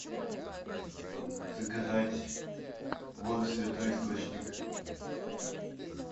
заказать воду святой источник